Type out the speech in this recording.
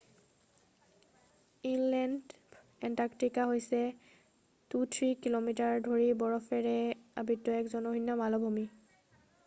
inland Antarctica হৈছে 2-3 কি:মি: ধৰি বৰফৰে আবৃত্ত এক জনশূণ্য মালভূমি৷